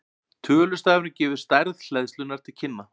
Tölustafurinn gefur stærð hleðslunnar til kynna.